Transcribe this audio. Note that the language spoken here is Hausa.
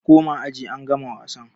Ku koma aji angama wasan!